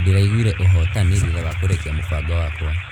Ndĩraiguire ũhotani thutha wa kũrĩkia mũbango wakwa.